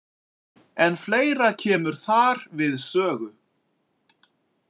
En fleira kemur þar við sögu.